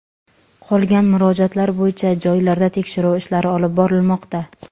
Qolgan murojaatlar bo‘yicha joylarda tekshiruv ishlari olib borilmoqda.